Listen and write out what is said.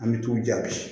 An bɛ t'u jaabi